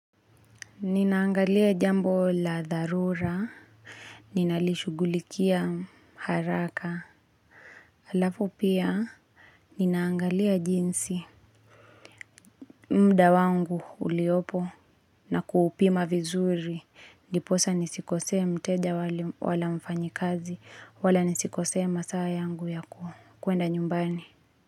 Ninaangalia jambo la dharura, ninalishugulikia haraka, alafu pia, ninaangalia jinsi mda wangu uliopo na kuupima vizuri, ndiposa nisikosee mteja wala mfanyi kazi, wala nisikosee masaa yangu ya kuenda nyumbani.